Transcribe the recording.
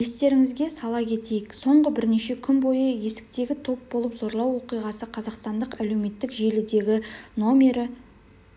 естеріңізге сала кетейік соңғы бірнеше күн бойы есіктегі топ болып зорлау оқиғасы қазақстандық әлеуметтік желідегі номері